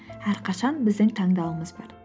әрқашан біздің таңдауымыз бар